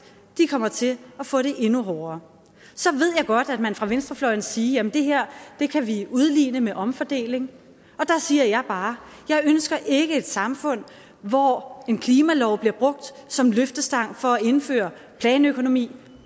kommer til at få det endnu hårdere så ved jeg godt at man fra venstrefløjen vil sige jamen det her kan vi udligne med omfordeling og der siger jeg bare jeg ønsker ikke et samfund hvor en klimalov bliver brugt som løftestang for at indføre planøkonomi